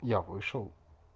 я вышел